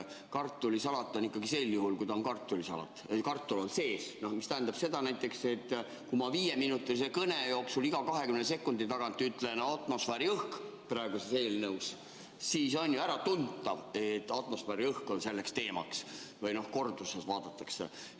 Kartulisalatil on ikkagi sel juhul, kui ta on kartulisalat, kartul sees, mis tähendab seda, et kui ma viieminutilise kõne jooksul iga 20 sekundi tagant ütlen "atmosfääriõhk" praeguse eelnõu puhul, siis on ju äratuntav, et atmosfääriõhk on selleks teemaks või kui korduses seda vaadatakse.